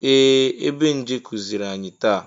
Ee! Ebenje kụziiri anyi taa.